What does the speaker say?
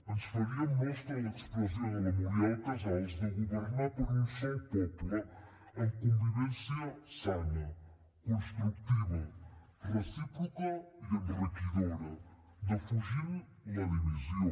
ens faríem nostra l’expressió de la muriel casals de governar per a un sol poble amb convivència sana constructiva recíproca i enriquidora defugint la divisió